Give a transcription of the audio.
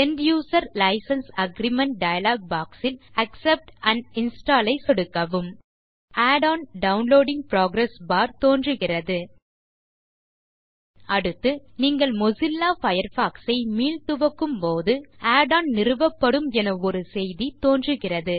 end user license agreement dialog box ல் accept and install ஐ சொடுக்கவும் add on downloading progress bar தோன்றுகிறது அடுத்து நீங்கள் மொசில்லா பயர்ஃபாக்ஸ் ஐ மீள்துவக்கும் போது add ஒன் நிறுவப்படும் என ஒரு செய்தி தோன்றுகிறது